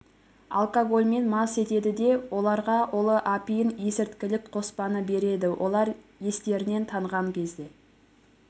алкогольмен мас етеді де оларға улы апиын есірткілік қоспаны береді олар естерінен танған кезде